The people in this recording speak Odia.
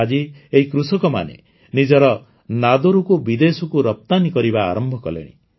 ଆଜି ଏହି କୃଷକମାନେ ନିଜର ନାଦରୁକୁ ବିଦେଶକୁ ରପ୍ତାନୀ କରିବା ଆରମ୍ଭ କଲେଣି